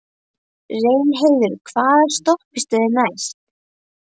Reynheiður, hvaða stoppistöð er næst mér?